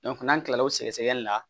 n'an kila la o sɛgɛsɛgɛli la